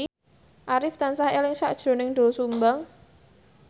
Arif tansah eling sakjroning Doel Sumbang